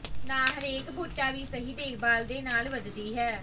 ਨਾ ਹਰੇਕ ਬੂਟਾ ਵੀ ਸਹੀ ਦੇਖਭਾਲ ਦੇ ਨਾਲ ਵਧਦੀ ਹੈ